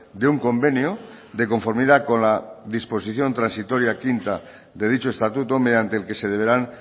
de un convenio de conformidad con la disposición transitoria quinta de dicho estatuto mediante el que se deberán